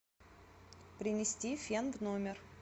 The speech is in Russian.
принести фен в номер